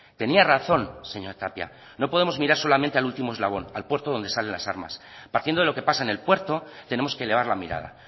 tenía razón señora tapia no podemos mirar solamente al último eslabón al puerto de donde salen las armas partiendo de lo que pasa en el puerto tenemos que elevar la mirada